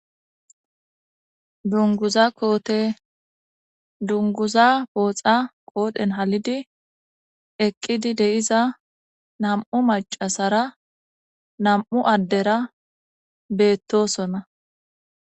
Dunguza koote dunguza booxa qoodhen halidi eqqidi deiza nam7u macasara nam7u addera beettosonna